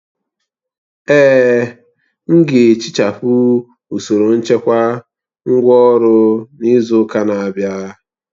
Èè, m ga-ehichapụ usoro nchekwa ngwá ọrụ n'izu ụka na-abịa